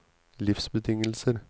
livsbetingelser